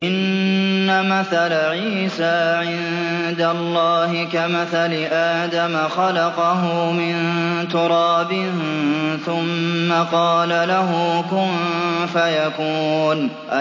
إِنَّ مَثَلَ عِيسَىٰ عِندَ اللَّهِ كَمَثَلِ آدَمَ ۖ خَلَقَهُ مِن تُرَابٍ ثُمَّ قَالَ لَهُ كُن فَيَكُونُ